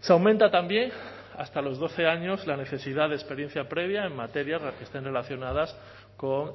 se aumenta también hasta los doce años la necesidad de experiencia previa en materias que estén relacionadas con